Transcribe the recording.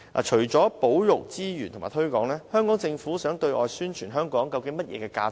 除了保育資源及推廣外，香港政府想對外宣傳香港的甚麼價值？